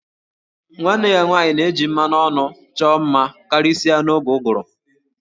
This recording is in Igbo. Nwanne ya nwanyị na-eji mmanụ ọnụ chọọ mma karịsịa n'oge ụgụrụ